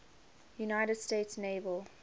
united states naval